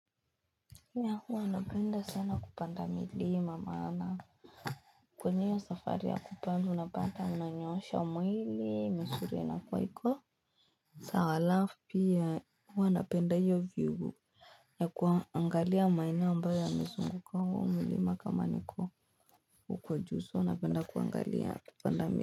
Ya huwa napenda sana kupanda milima maana kwenye ya safari ya kupanda unapata unanyoosha mwili misuli yanakuwa sawa halafu pia huwa napenda hiyo view ya kuangalia maeneo ambayo yamezunguka huo mulima kama niko huko juu so napenda kuangalia kupanda milima.